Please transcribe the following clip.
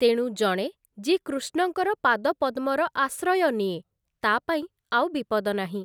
ତେଣୁ ଜଣେ ଯିଏ କୃଷ୍ଣଙ୍କର ପାଦପଦ୍ମର ଆଶ୍ରୟ ନିଏ, ତା ପାଇଁ ଆଉ ବିପଦ ନାହିଁ ।